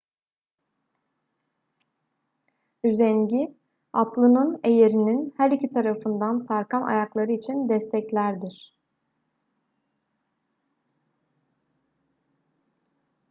üzengi atlının eyerinin her iki tarafından sarkan ayakları için desteklerdir